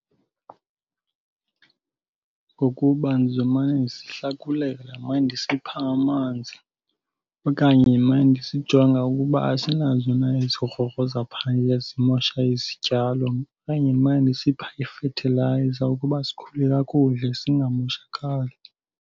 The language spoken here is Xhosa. Ngokuba ndizomane ndisihlakulela, ndimane ndisipha amanzi okanye ndimane ndisijonga ukuba asinazo na ezi grogro zaphaya zimosha izityalo. Okanye ndimane ndisipha ifethilayiza ukuba sikhule kakuhle singamoshakali.